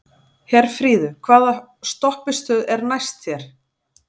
Herfríður, hvaða stoppistöð er næst mér?